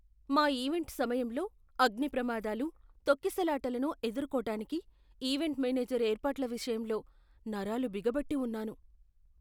మా ఈవెంట్ సమయంలో అగ్నిప్రమాదాలు, తొక్కిసలాటలను ఎదుర్కోటానికి ఈవెంట్ మేనేజర్ ఏర్పాట్ల విషయంలో నరాలు బిగపట్టి ఉన్నాను.